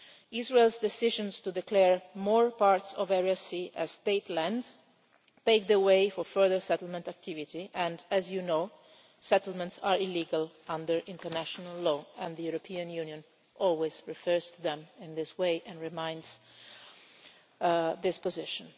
Israel's decisions to declare more parts of Area C as state land pave the way for further settlement activity and, as you know, settlements are illegal under international law, and the European Union always refers to them in this way and restates this position.